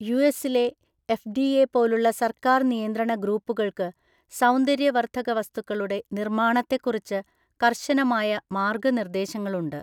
യുഎസിലെ എഫ്.ഡി.എ. പോലുള്ള സർക്കാർ നിയന്ത്രണ ഗ്രൂപ്പുകൾക്ക് സൗന്ദര്യവർദ്ധക വസ്തുക്കളുടെ നിർമ്മാണത്തെക്കുറിച്ച് കർശനമായ മാർഗ്ഗനിർദ്ദേശങ്ങളുണ്ട്.